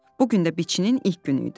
Bu gün də biçinin ilk günü idi.